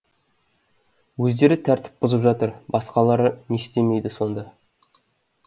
өздері тәртіп бұзып жатыр басқалары не істемейді сонда